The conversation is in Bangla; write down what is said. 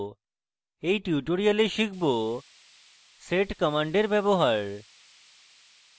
in tutorial শিখব sed command ব্যবহার